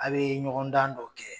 A bɛ ɲɔgɔn dan dɔ kɛ